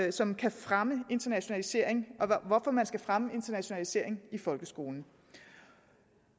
og som kan fremme internationaliseringen og hvorfor man skal fremme internationaliseringen i folkeskolen